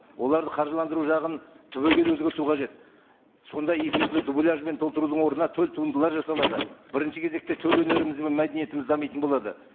оларды қаржыландыру жағын түбегейлі өзгерту қажет сонда эфирді дубляжбен толтырудың орнына төл туындылар жасалады бірінші кезекте төл өнеріміз бен мәдениетіміз дамитын болады